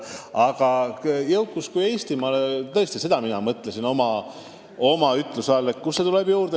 Aga jõukus Eestimaale – kust see juurde tuleb?